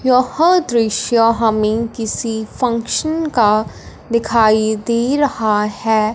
यह दृश्य हमें किसी फंक्शन का दिखाई दे रहा है।